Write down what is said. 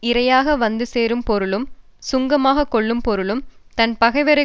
இறையாக வந்து சேரும் பொருளும் சுங்கமாகக் கொள்ளும் பொருளும் தன் பகைவரை